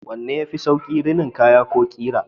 Wanne ne yafi sauƙi, rinin kaya ko ƙira?